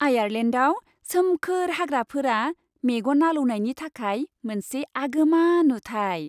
आयारलेन्डआव सोमखोर हाग्राफोरा मेगन आलौनायनि थाखाय मोनसे आगोमा नुथाय।